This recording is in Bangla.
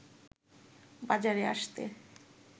বাজারে আসতে